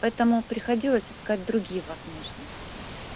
поэтому приходилось искать другие возможности